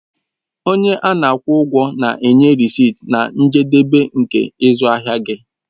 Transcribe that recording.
Onye ana-akwụ ụgwọ na-enye rèsịtị na njedebe nke ịzụ ahịa gị.